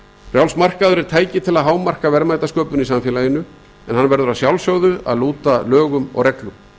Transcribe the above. frjáls markaður er tæki til að hámarka verðmætasköpun í samfélaginu en hann verður að sjálfsögðu að lúta lögum og reglum